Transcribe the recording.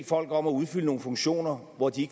folk om at udfylde nogle funktioner hvor de